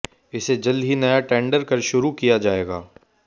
इसे जल्द ही नया टेंडर कर शुरू किया जाएगा